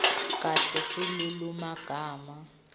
kahle silulumagama